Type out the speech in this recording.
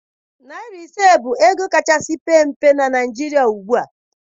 Naịra ise bụ ego kachasị pee mpe na Naịjirịa ugbua